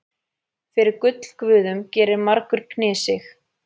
Fyrir gullguðum gerir margur knésig.